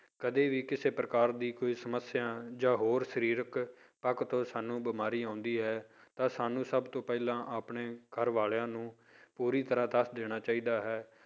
ਕਦੇ ਵੀ ਕਿਸੇ ਪ੍ਰਕਾਰ ਦੀ ਕੋਈ ਸਮੱਸਿਆ ਜਾਂ ਹੋਰ ਸਰੀਰਕ ਪੱਖ ਤੋਂ ਸਾਨੂੰ ਬਿਮਾਰੀ ਆਉਂਦੀ ਹੈ ਤਾਂ ਸਾਨੂੂੰ ਸਭ ਤੋਂ ਪਹਿਲਾਂ ਆਪਣੇ ਘਰ ਵਾਲਿਆਂ ਨੂੰ ਪੂਰੀ ਤਰ੍ਹਾਂ ਦੱਸ ਦੇਣਾ ਚਾਹੀਦਾ ਹੈ।